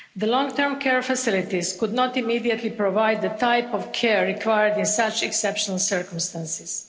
Long-term care facilities could not immediately provide the type of care required in such exceptional circumstances.